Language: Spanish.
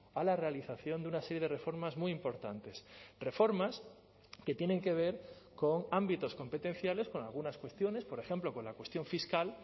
a la realización de una serie de reformas muy importantes reformas que tienen que ver con ámbitos competenciales con algunas cuestiones por ejemplo con la cuestión fiscal